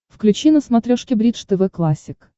включи на смотрешке бридж тв классик